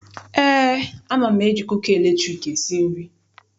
Eé, ama m eji kuka latriki esi nri.